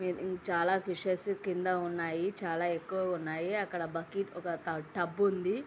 ఇది చాలా ఫిషెస్ కింద ఉన్నాయి. చాలా ఎక్కువగా ఉన్నాయి .అక్కడ బకెట్లు ఒక టబ్ ఉంది.